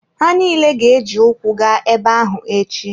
Ha niile ga-eji ụkwụ gaa ebe ahụ echi.